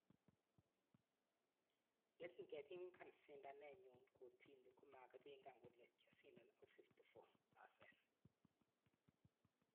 Yekingepingan sindaanet nyu kotini komakipingan kole kyasindan ak 54%